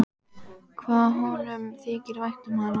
Hvað honum þykir vænt um hana!